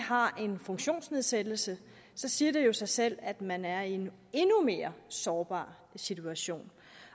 har en funktionsnedsættelse siger det jo sig selv at man er i en endnu mere sårbar situation